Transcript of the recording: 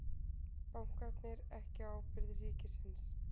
Bankarnir ekki á ábyrgð ríkisins